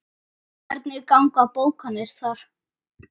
Hvernig ganga bókanir þar?